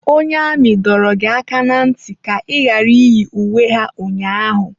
Onye amị dọrọ gị aka na ntị ka ị ghara iyi uwe ha ụnyaahụ!